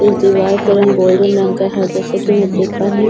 इस दीवार का रंग गोल्डन रंग का है जैसे की मैं देख पा रही हूँ इस दीवार --